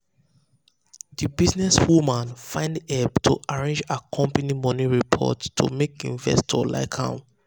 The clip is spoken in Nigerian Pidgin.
the businesswoman find help to arrange her company money report to make investors like am.